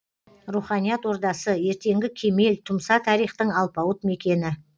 руханият ордасы ертеңі кемел тұмса тарихтың алпауыт мекені